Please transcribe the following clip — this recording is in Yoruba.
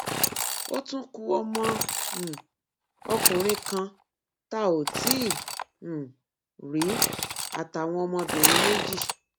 ó tún ku ọmọ um ọkùnrin kan tá ò tí um ì rí àtàwọn ọmọbìnrin méjì